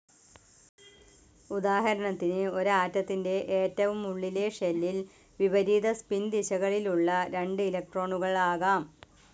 ഉദാഹരണത്തിന്, ഒരു ആറ്റത്തിന്റെ ഏറ്റവും ഉള്ളിലെ ഷെല്ലിൽ വിപരീത സ്പിൻ ദിശകളിലുള്ള രണ്ട് ഇലക്ട്രോണുകൾ ആകാം.